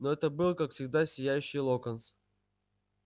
но это был как всегда сияющий локонс